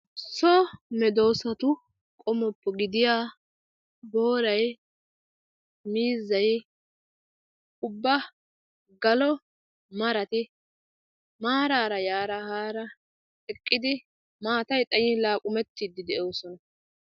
So medoosatu qommoppe gidiyaa miizzay, booray, ubba galo maray ubbay maarara yara haara eqqidi maatay xayyin mela laaqumettide de'oosona.